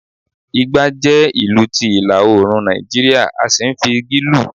ìgbà jẹ ìlù ti ilá- oorun ní Naijiria, a sí n fi igí lù